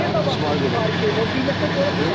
Niyə qabaqcadan sifariş eləyir? O qiymətə görə sifariş eləyir?